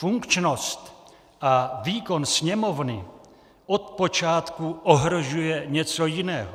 Funkčnost a výkon Sněmovny od počátku ohrožuje něco jiného.